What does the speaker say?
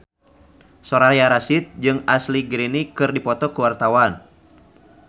Soraya Rasyid jeung Ashley Greene keur dipoto ku wartawan